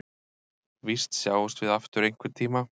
Víst sjáumst við aftur einhverntíma.